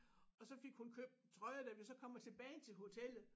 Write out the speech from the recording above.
Og så fik hun købt trøje da vi så kommer tilbage til hotellet